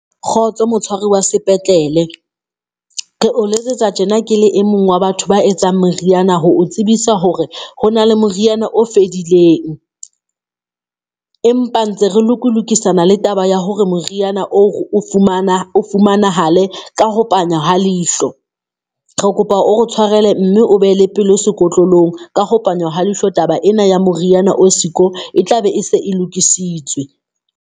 Kgotso motshwari wa sepetlele, re o letsetsa tjena ke le e mong wa batho ba etsang moriana ho o tsebisa hore ho na le moriana o fedileng, empa ntse re lokulokisana le taba ya hore moriana o fumana fumanahale ka ho panya ha leihlo. Re kopa o re tshwarele mme o be le pelo sekotlolong. Ka ho panya ha leihlo taba ena ya moriana o siko e tlabe e se e lokisitswe.